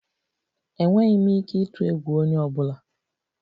Enweghị m ike ịtụ egwu onye ọ bụla.